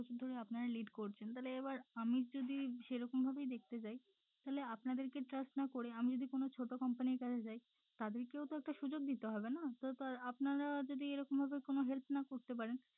এত বছর ধরে আপনারা lead করছেন তাহলে এবার আমি যদি সেরকম ভাবেই দেখতে যাই তাহলে আপনাদের trust না করে আমি যদি কোনো ছোট company র কাছে যাই তাদেরকেও তো একটা সুযোগ দিতে হবে না তো তাঁর আপনারা যদি এরকম ভাবে help না করতে পারেন